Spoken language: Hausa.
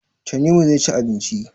Tanimu zai ci abinci.